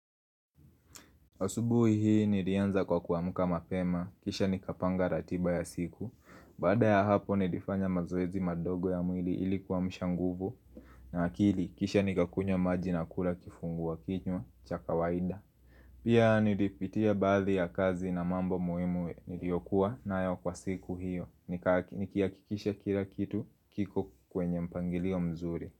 Asubuhi hii nilianza kwa kuamka mapema, kisha nikapanga ratiba ya siku, baada ya hapo nilifanya mazoezi madogo ya mwili ilikuwa kuamsha nguvu na akili kisha nikakunywa maji na kula kifungua kinywa chaka waida. Pia nilipitia baadhi ya kazi na mambo muhimu niliyokuwa nayo kwa siku hiyo, nikihakikisha kila kitu kiko kwenye mpangilio mzuri.